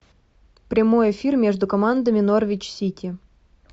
прямой эфир между командами норвич сити